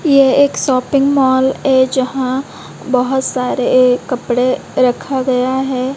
ये एक shopping mall ए जहां बहुत सारे ए कपड़े रखा गया है।